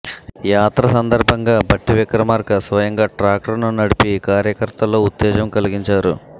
యాత్ర సందర్భంగా భట్టి విక్రమార్క స్వయంగా ట్రాక్టర్ను నడిపి కార్యకర్తల్లో ఉత్తేజం కలిగించారు